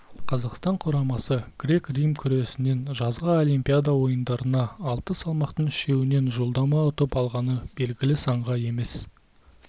қазақстан құрамасы грек-рим күресінен жазғы олимпиада ойындарына алты салмақтың үшеуінен жолдама ұтып алғаны белгілі санға емес